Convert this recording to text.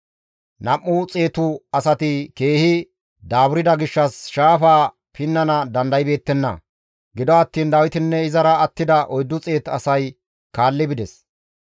Nam7u xeetu asati keehi daaburda gishshas shaafaa pinnana dandaybeettenna. Gido attiin Dawitinne izara attida 400 asay kaalli bides.